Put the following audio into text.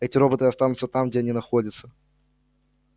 эти роботы останутся там где они находятся